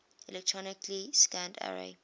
electronically scanned array